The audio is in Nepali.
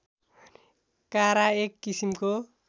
कारा एक किसिमको